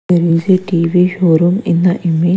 There is a T_V showroom in the image.